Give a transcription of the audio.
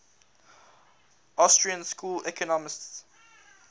austrian school economists